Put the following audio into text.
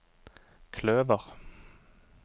kløver